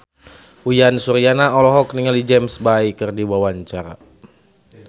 Uyan Suryana olohok ningali James Bay keur diwawancara